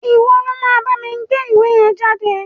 Ìwo lo ma bámi gbé ìwé yen jáde